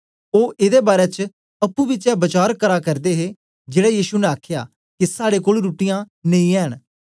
ओ एदे बारै च अप्पुं बिचें वचार करा करदे हे जेड़ा येशु ने आखया के साड़े कोल रुट्टीयाँ नेई ऐ न